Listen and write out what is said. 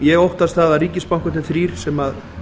ég óttast það að ríkisbankarnir þrír sem